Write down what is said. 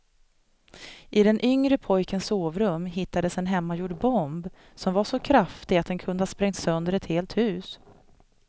I den yngre pojkens sovrum hittades en hemmagjord bomb som var så kraftig att den kunde ha sprängt sönder ett helt hus.